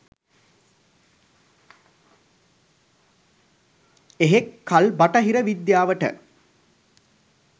එහෙක් කල් බටහිර විද්‍යාවට